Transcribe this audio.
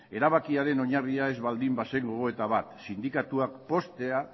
erabakiaren oinarria ez baldin bazen gogoeta bat sindikatuak poztea